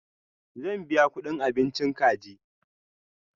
Zan biya kuɗin abinchi kaji.